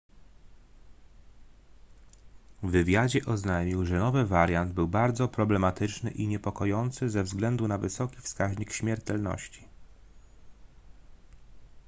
w wywiadzie oznajmił że nowy wariant był bardzo problematyczny i niepokojący ze względu na wysoki wskaźnik śmiertelności